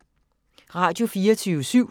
Radio24syv